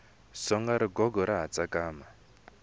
songa rigogo ra ha tsakama